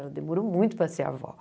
Ela demorou muito para ser avó.